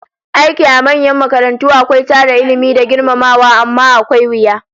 Aiki a manyan makarantu akwai tara Ilmi da girmamawa, amma akwai wuya